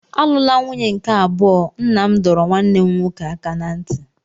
Alụla nwunye nke abụọ! Nna m dọrọ nwanne m nwoke aka ná ntị.